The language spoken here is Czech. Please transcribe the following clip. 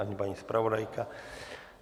Ani paní zpravodajka.